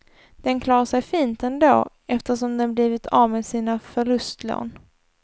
Den klarar sig fint ändå, eftersom den blivit av med sina förlustlån.